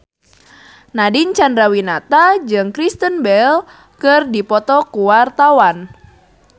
Nadine Chandrawinata jeung Kristen Bell keur dipoto ku wartawan